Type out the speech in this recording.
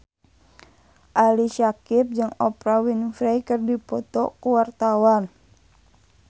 Ali Syakieb jeung Oprah Winfrey keur dipoto ku wartawan